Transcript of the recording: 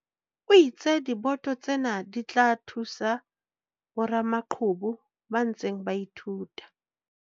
O itse diboto tsena di tla thusa boramaqhubu ba ntseng ba ithuta.